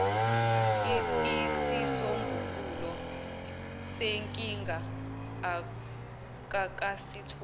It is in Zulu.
isisombululo senkinga akakasitholi